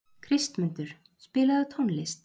Kristmundur, spilaðu tónlist.